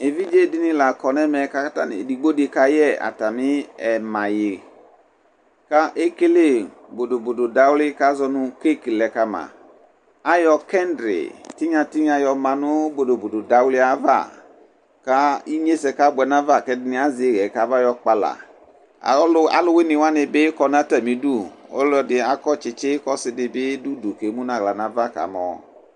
Evidzedini la kɔ nɛmɛ edigbodi kayɛ ayu ɛma yuidi ekele bodobodo di kazɔ nu keke lɛ kama ayɔ kɛdri tinya tinya lɛ kama nu bodobodo dawli yɛ ava ku inyesɛ kabuɛ nafa ku ɛdini azɛ iɣɛ kafɔyɔ kpala aluwuini wani bi kɔ nu atamidu ɔlɔdi akɔtsi tsitsi ku ɔsidibi yanu udu ku emu nu aɣla nava kamɔ